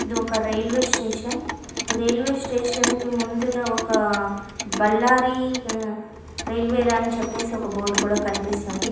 ఇది ఒక railway station ఈ రైల్వే స్టేషన్ కి ముందునా ఒక బళ్లారి రైల్వే రా అని చెప్పేసి ఒక బోర్డు కూడా కనిపిస్తుంది.